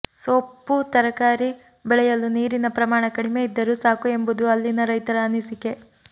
ಸೊಪ್ಪು ತರಕಾರಿ ಬೆಳೆಯಲು ನೀರಿನ ಪ್ರಮಾಣ ಕಡಿಮೆ ಇದ್ದರೂ ಸಾಕು ಎಂಬುದು ಅಲ್ಲಿನ ರೈತರ ಅನಿಸಿಕೆ